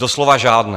Doslova žádné.